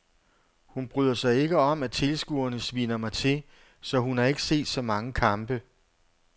Hun bryder sig ikke om at tilskuerne sviner mig til, så hun har ikke set så mange kampe.